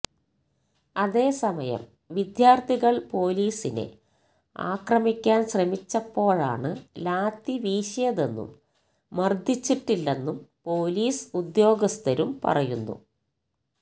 അതേസമയം വിദ്യാര്ത്ഥികള് പോലിസിനെ ആക്രമിക്കാന് ശ്രമിച്ചപ്പോഴാണ് ലാത്തി വീശിയതെന്നും മർദ്ദിച്ചിട്ടില്ലെന്നും പോലിസ് ഉദ്യോഗസ്ഥരും പറയുന്നു